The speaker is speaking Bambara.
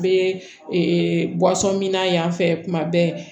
N bɛ min na yan fɛ kuma bɛɛ